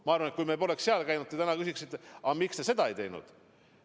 Ma arvan, et kui me poleks seal käinud, siis te küsiksite täna, et aga miks te seda ei teinud.